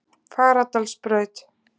Fagradalsbraut